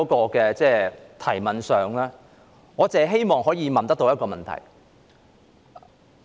我的質詢只希望問一個問題。